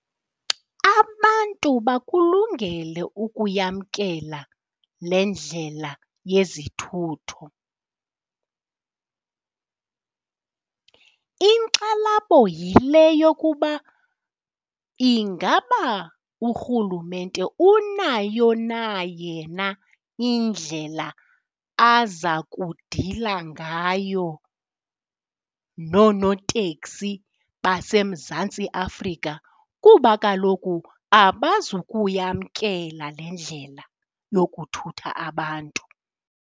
Abantu bakulungele ukuyamkela le ndlela yezithutho. Inkxalabo yile yokuba ingaba urhulumente unayo na yena indlela aza kudila ngayo nonooteksi baseMzantsi Afrika kuba kaloku abazukuyamkela le ndlela yokuthutha abantu.